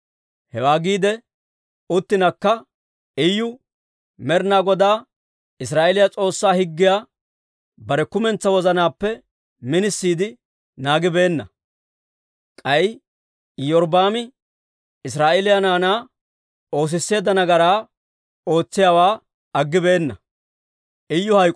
Hewaa giidi uttinakka, Iyu Med'ina Godaa Israa'eeliyaa S'oossaa higgiyaa bare kumentsaa wozanaappe minisiide naagibeenna; k'ay Iyorbbaami Israa'eeliyaa naanaa oosisseedda nagaraa ootsiyaawaa aggibeenna.